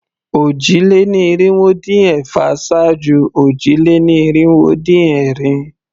Òjì-lé-ní-irinwó-dín-ẹ̀fà ṣáájú òjì-lé-ní-irinwó-dín-ẹ̀rin.